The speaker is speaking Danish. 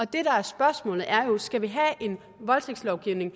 det der er spørgsmålet er jo skal have en voldtægtslovgivning